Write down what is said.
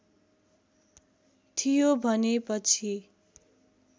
थियो भने पछि